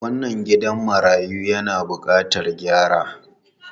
Wannan gidan marayu yana bukatar gyara.